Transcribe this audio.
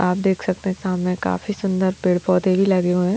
आप देख सकते हैं सामने काफी सुंदर पेड़ पौधे भी लगे हुए हैं।